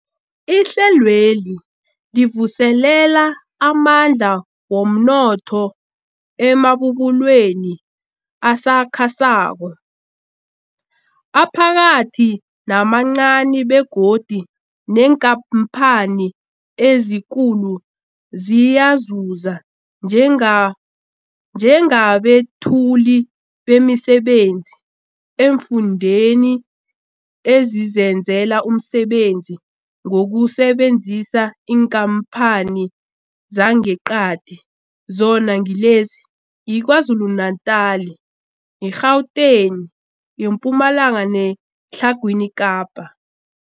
Ihlelweli livuselela amandla womnotho emabubulweni asakhasako, aphakathi namancani begodu neenkhamphani ezikulu ziyazuza njenga njengabethuli bemisebenzi eemfundeni ezizenzela umsebenzi ngokusebenzisa iinkhamphani zangeqadi, zona ngilezi, yiKwaZulu-Natala, i-Gauteng, iMpumalanga neTlhagwini Kapa.